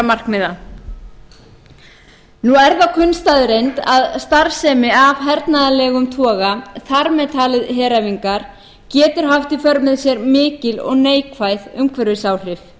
nú er það kunn staðreynd að starfsemi af hernaðarlegum toga þar með taldar heræfingar getur haft í för með sér mikil og neikvæð umhverfisáhrif